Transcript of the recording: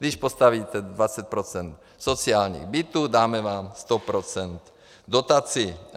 Když postavíte 20 % sociálních bytů, dáme vám 100 % dotaci.